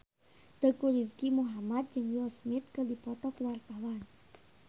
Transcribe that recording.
Teuku Rizky Muhammad jeung Will Smith keur dipoto ku wartawan